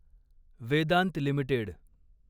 Vedanta limited